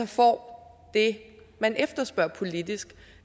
får det man efterspørger politisk